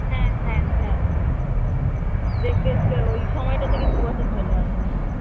হ্যাঁ হ্যাঁ হ্যাঁ দেখতে দেখতে ওই সময়টা থেকে দুই বছর চললো আসা হল